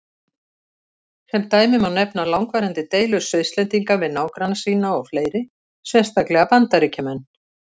Sem dæmi má nefna langvarandi deilur Svisslendinga við nágranna sína og fleiri, sérstaklega Bandaríkjamenn.